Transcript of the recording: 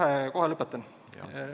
Ei, kohe lõpetan.